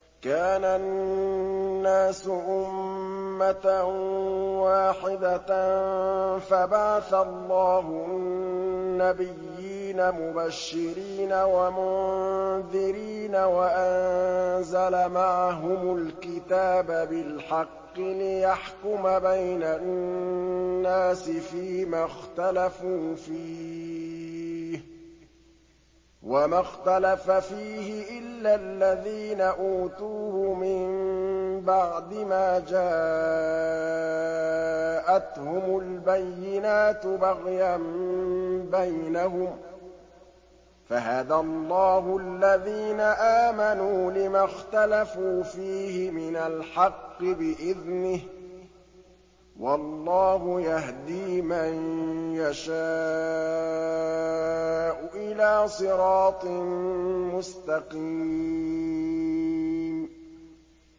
كَانَ النَّاسُ أُمَّةً وَاحِدَةً فَبَعَثَ اللَّهُ النَّبِيِّينَ مُبَشِّرِينَ وَمُنذِرِينَ وَأَنزَلَ مَعَهُمُ الْكِتَابَ بِالْحَقِّ لِيَحْكُمَ بَيْنَ النَّاسِ فِيمَا اخْتَلَفُوا فِيهِ ۚ وَمَا اخْتَلَفَ فِيهِ إِلَّا الَّذِينَ أُوتُوهُ مِن بَعْدِ مَا جَاءَتْهُمُ الْبَيِّنَاتُ بَغْيًا بَيْنَهُمْ ۖ فَهَدَى اللَّهُ الَّذِينَ آمَنُوا لِمَا اخْتَلَفُوا فِيهِ مِنَ الْحَقِّ بِإِذْنِهِ ۗ وَاللَّهُ يَهْدِي مَن يَشَاءُ إِلَىٰ صِرَاطٍ مُّسْتَقِيمٍ